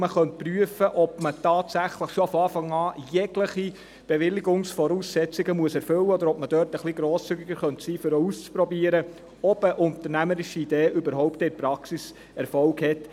Man könnte prüfen, ob man tatsächlich schon von Anfang an jegliche Bewilligungsvoraussetzung erfüllen muss oder ob man dort etwas grosszügiger sein könnte, um auszuprobieren, ob eine unternehmerische Idee überhaupt in der Praxis Erfolg hat.